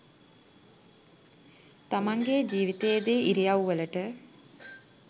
තමන්ගෙ ජීවිතයේදී ඉරියව්වලට